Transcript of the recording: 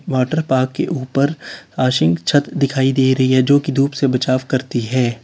Water park के ऊपर छत दिखाई दे रही है जोकि धूप से बचाव करती है।